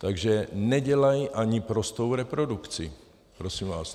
Takže nedělají ani prostou reprodukci prosím vás.